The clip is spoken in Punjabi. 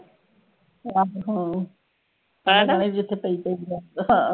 ਆਹੋ ਕੇਨਾ ਜਿੱਥੇ ਪਈ ਰੇਂਡੋ ਹਾਂ